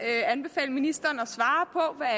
anbefale ministeren